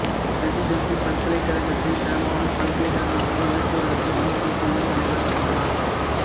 presidency பல்கலைக் கழகத்தைத் தரமான பல்கலைக் கழகமாக உயர்த்துவதற்கு ஆலோசனைக் குழுவின் தலைவர் ஆனார்